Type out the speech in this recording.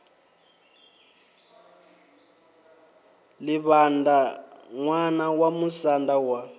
livhaṋda ṋwana wa musanda wa